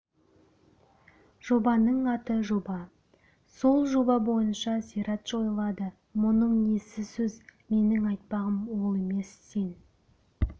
жобаның аты жоба сол жоба бойынша зират жойылады мұның несі сөз менің айтпағым ол емес сен